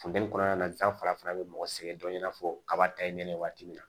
Funteni kɔnɔna na san farafinya be mɔgɔ sɛgɛn dɔɔnin i n'a fɔ kaba ta ye ne ye waati min na